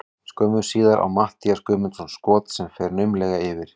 Skömmu síðar á Matthías Guðmundsson skot sem fer naumlega yfir.